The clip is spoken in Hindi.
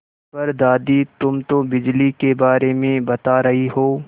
पर दादी तुम तो बिजली के बारे में बता रही हो